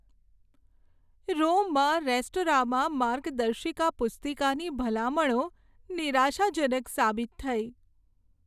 રોમમાં restaurant માટે માર્ગદર્શિકા પુસ્તિકાની ભલામણો નિરાશાજનક સાબિત થઈ.